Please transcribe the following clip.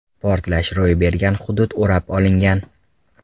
Portlash ro‘y bergan hudud o‘rab olingan.